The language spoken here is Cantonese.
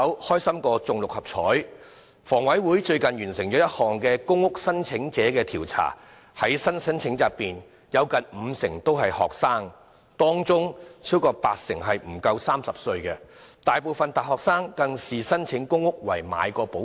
香港房屋委員會最近完成了一項公屋申請者調查，發現在新申請者中有近五成人是學生，當中超過八成人不足30歲，而大部分大學生更視申請公屋為"買保險"。